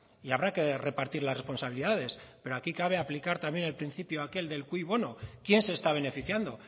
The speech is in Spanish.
y habrá que repartir las responsabilidades pero aquí cabe aplicar también el principio aquel de cui bono quién se está beneficiando